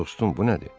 Dostum, bu nədir?